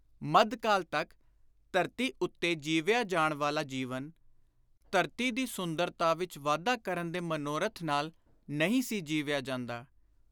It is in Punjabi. ਮੱਧਕਾਲ ਤਕ ਧਰਤੀ ਉੱਤੇ ਜੀਵਿਆ ਜਾਣ ਵਾਲਾ ਜੀਵਨ, ਧਰਤੀ ਦੀ ਸੁੰਦਰਤਾ ਵਿਚ ਵਾਧਾ ਕਰਨ ਦੇ ਮਨੋਰਥ ਨਾਲ ਨਹੀਂ ਸੀ ਜੀਵਿਆ ਜਾਂਦਾ।